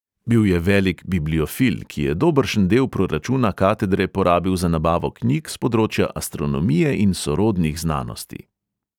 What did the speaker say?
Bil je velik bibliofil, ki je dobršen del proračuna katedre porabil za nabavo knjig s področja astronomije in sorodnih znanosti.